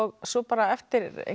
svo bara eftir einhverja